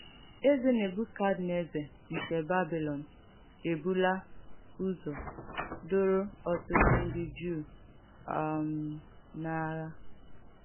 Èzè Nèbùkadnèzà nke Bàbìlòn èbùlà ùzọ̀ dòrò ọ̀tụ̀tụ̀ ndí Jùù um n’àghà.